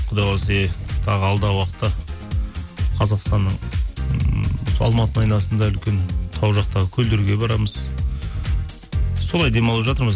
құдай қаласа тағы алдағы уақытта қазақстанның ммм сол алматының айналасында үлкен тау жақтағы көлдерге барамыз солай демалып жатырмыз